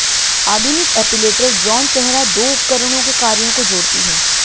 आधुनिक epilator Braun चेहरा दो उपकरणों के कार्यों को जोड़ती है